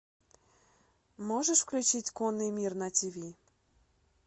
можешь включить конный мир на тв